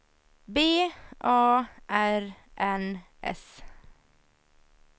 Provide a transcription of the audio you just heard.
B A R N S